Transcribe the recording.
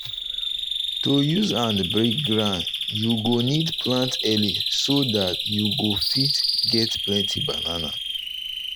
to use hand break ground you go need plant early so that you go fit get plenty banana.